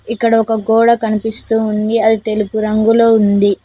ఇక్కడ ఒక గోడ కనిపిస్తు ఉంది అది తెలుపు రంగులో ఉంది